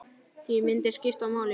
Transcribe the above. Því myndir skipta máli.